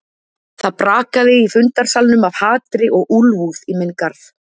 Það brakaði í fundarsalnum af hatri og úlfúð í minn garð.